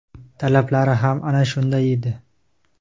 talablari ham ana shunday edi.